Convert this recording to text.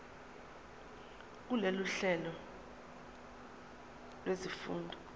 kulolu hlelo lwezifundo